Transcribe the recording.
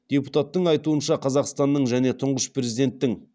депутаттың айтуынша қазақстанның және тұңғыш президенттің